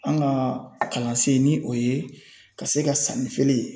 An ka kalansen ni o ye ka se ka sanni feere